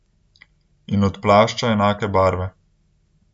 In od plašča enake barve.